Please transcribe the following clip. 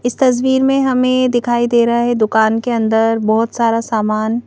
इस तस्वीर में हमें दिखाई दे रहा है दुकान के अंदर बहुत सारा सामान--